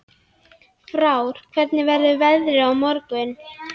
Frár, hvernig verður veðrið á morgun?